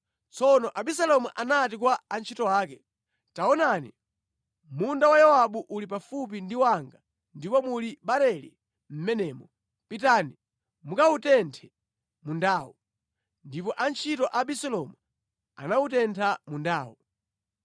Tsono Abisalomu anati kwa antchito ake, “Taonani, munda wa Yowabu uli pafupi ndi wanga ndipo muli barele mʼmenemo. Pitani mukawutenthe mundawo.” Ndipo antchito a Abisalomu anawutentha mundawo.